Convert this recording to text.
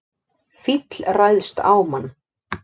Fíll ræðst á mann